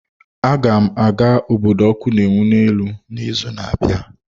Aga m aga obodo ọkụ na-enwu n'elu n'izu na-abịa.